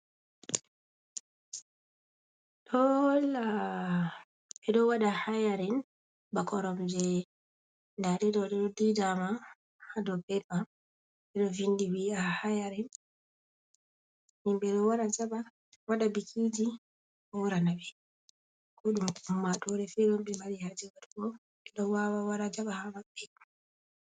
Ɗoo holla beɗo waɗa hayarin ba koromje ɗaɗeɗo ɗoɗi ɗo ɗiɗama ha ɗow peta. Beɗo vinɗi wi a hayarin. himbe ɗo jaba waɗa bikiji hourana be. Koɗum omma tore fe be mari haje watugo be ɗo wawa wara jaba ha mabbe.